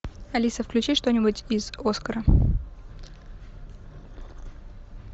алиса включи что нибудь из оскара